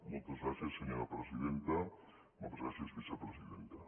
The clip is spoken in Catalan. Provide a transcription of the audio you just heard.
moltes gràcies senyora presidenta moltes gràcies vicepresidenta